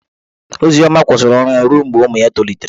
Ozioma kwụsịrị ọrụ ya ruo mgbe ụmụ ya tolitere.